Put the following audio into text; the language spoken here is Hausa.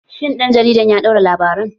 Shin ɗan jaridar ya ɗauki labaran?